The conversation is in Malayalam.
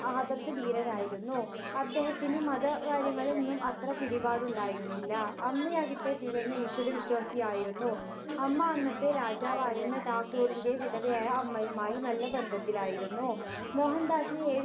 ആദർശധീരനായിരുന്നു. അദ്ദേഹത്തിന് മതകാര്യങ്ങളിൽ ഒന്നും അത്ര പിടിപാടുണ്ടായിരുന്നില്ല. അമ്മയാകട്ടെ തികഞ്ഞ ഈശ്വരവിശ്വാസിയായിരുന്നു. അമ്മ അന്നത്തെ രാജാവായിരുന്ന ഠാക്കൂറിന്റെ വിധവയായ അമ്മയുമായി നല്ല ബന്ധത്തിലായിരുന്നു. മോഹൻദാസിന് ഏഴു